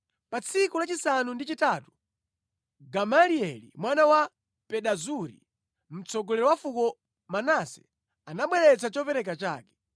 Pa tsiku lachisanu ndi chitatu Gamalieli mwana wa Pedazuri, mtsogoleri wa fuko Manase, anabweretsa chopereka chake.